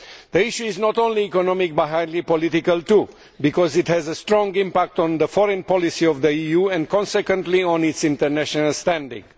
The issue is not only economic, but highly political too, because it has a strong impact on the foreign policy of the EU and, consequently, on its international standing.